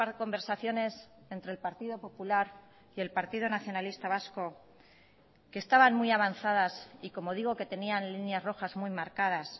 conversaciones entre el partido popular y el partido nacionalista vasco que estaban muy avanzadas y como digo que tenían líneas rojas muy marcadas